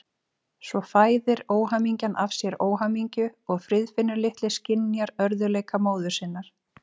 Svo fæðir óhamingjan af sér óhamingju og Friðfinnur litli skynjar örðugleika móður sinnar.